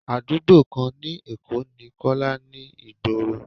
Àdúgbò kan ni Èkó ni Kọ́lá ni ìgboro.